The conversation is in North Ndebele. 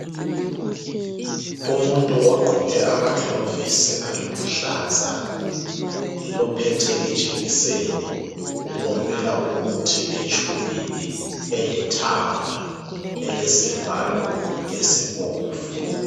Umuntu ogqoke ama gloves aluhlaza uphethe ijekiseni upompela umuthi etshubhini elithanga elesivalo esibomvu.